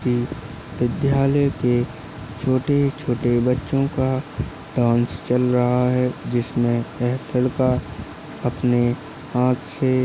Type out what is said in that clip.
विद्यालय के छोटे-छोटे बच्चो का डांस चल रहा है जिसमे एक लड़का अपने हाथ से --